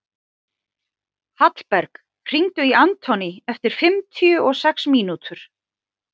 Hallberg, hringdu í Anthony eftir fimmtíu og sex mínútur.